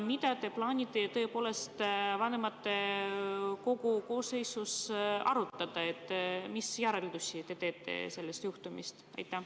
Mida te plaanite vanematekogus arutada ja mis järeldusi te teete sellest juhtumist?